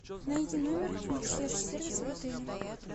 найди номер консьерж сервиса в отеле